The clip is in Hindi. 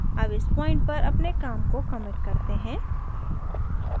अब इस point पर अपने काम को commit करते हैं